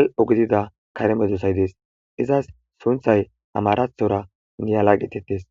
al7o gidida kare meedosay dees. Izas sunthay amarathora niyala getettes.